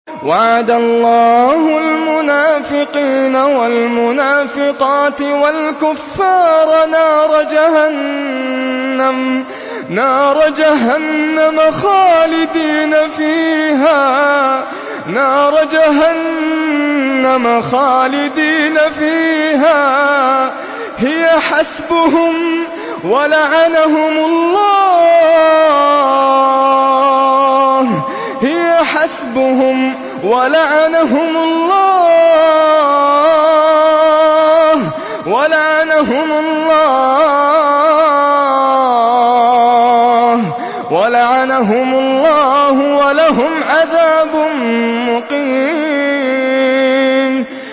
وَعَدَ اللَّهُ الْمُنَافِقِينَ وَالْمُنَافِقَاتِ وَالْكُفَّارَ نَارَ جَهَنَّمَ خَالِدِينَ فِيهَا ۚ هِيَ حَسْبُهُمْ ۚ وَلَعَنَهُمُ اللَّهُ ۖ وَلَهُمْ عَذَابٌ مُّقِيمٌ